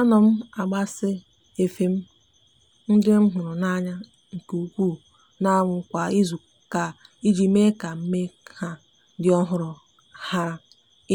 a no m agbasa efe m ndi nhuru n' anya nke uku n'anwu kwa izuuka iji me ka me ka ha di ohuru hara